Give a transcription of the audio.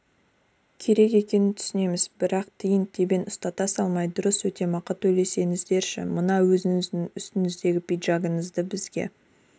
керек екенін түсінеміз бірақ тиын-тебен ұстата салмай дұрыс өтемақы төлесеңіздерші мына өзіңіз үстіңіздегі пиджагыңызды бізге